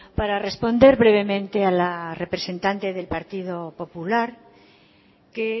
para responder brevemente a la representante del partido popular que